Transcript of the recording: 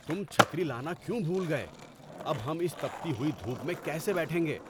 تم چھتری لانا کیوں بھول گئے؟ اب ہم اس تپتی ہوئی دھوپ میں کیسے بیٹھیں گے؟